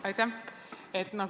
Aitäh!